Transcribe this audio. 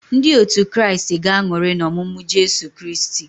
Ndị otu Kraịst ga-aṅụrị n'ọmụmụ Jesu Kristi.